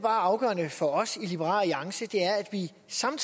ja for at sådan